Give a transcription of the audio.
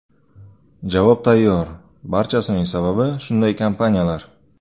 Javob tayyor, barchasining sababi shunday kompaniyalar.